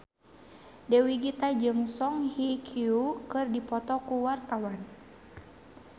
Dewi Gita jeung Song Hye Kyo keur dipoto ku wartawan